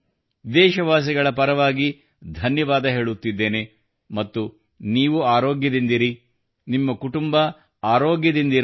ದೇಶವಾಸಿಗಳ ಪರವಾಗಿ ಧನ್ಯವಾದ ಹೇಳುತ್ತಿದ್ದೇನೆ ಮತ್ತು ನೀವು ಆರೋಗ್ಯದಿಂದಿರಿ ನಿಮ್ಮ ಕುಟುಂಬ ಆರೋಗ್ಯದಿಂದಿರಲಿ